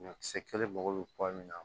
Ɲɔkisɛ kelen mago be bɔ min na